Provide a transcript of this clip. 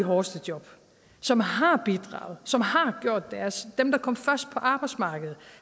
hårdeste job som har bidraget som har gjort deres dem der kom først på arbejdsmarkedet og